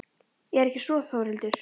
Er ekki svo Þórhildur?